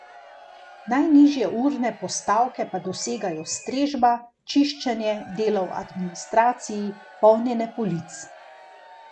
Najnižje urne postavke pa dosegajo strežba, čiščenje, delo v administraciji, polnjenje polic.